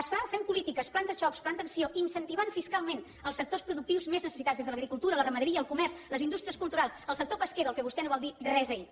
es fa fent polítiques plans de xoc plans d’acció incentivant fiscalment els sectors productius més necessitats des de l’agricultura la ramaderia el comerç les indústries culturals el sector pesquer del qual vostè no va dir res ahir